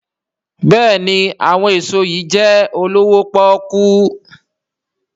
béèni àwọn èso yí jé olowo poku.